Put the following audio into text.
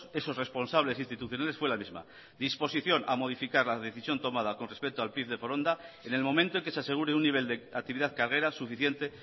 esos responsables institucionales fue la misma disposición a modificar la decisión tomada con respecto al pif de foronda en el momento en que se asegure un nivel de actividad carguera suficiente